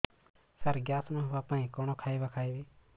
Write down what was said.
ସାର gas ନ ହେବା ପାଇଁ କଣ ଖାଇବା ଖାଇବି